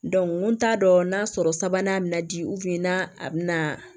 n t'a dɔn n'a sɔrɔ sabanan mina di n'a bɛna